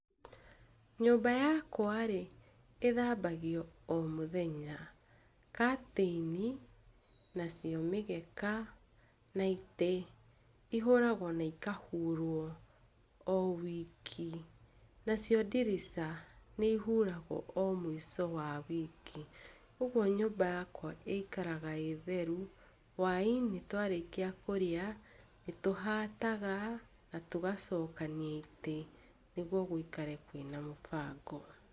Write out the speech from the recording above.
Nyũmba yakwa-rĩ ĩthambagio o mũthenya, curtain , nacio mĩgeka, na itĩ, ihũragwo na ikahurwo o wiki. Nacio ndirica nĩ ihuragwo o mũico wa wiki, ũguo nyũmba yakwa ĩikaraga ĩ theru. Hũa-inĩ twarĩkia kũrĩa nĩ tũhataga na tũgacokania itĩ nĩguo gũikare kwĩna mũbango.